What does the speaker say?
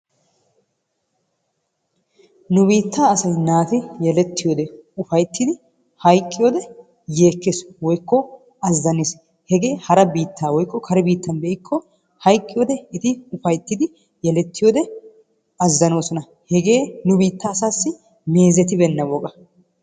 nu biittaa asay naati yelettiyode ufayttidi hayqqiyode yeekkes, woykko azzanees, hegee hara biittan be'ikko hayqqiyode eti ufaytidi yelettiyode eti azanoosona. hegee nu biittaa asaassi meezetibeenna woga.